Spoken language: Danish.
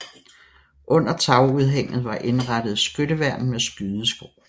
Under tagudhænget var indrettet skytteværn med skydeskår